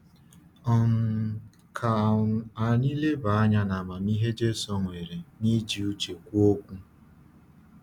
um Ka um anyị leba anya n’amamihe Jésù nwere n’iji uche kwuo okwu.